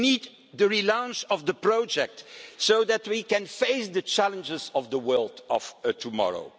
We need the re-launch of the project so that we can face the challenges of the world of tomorrow.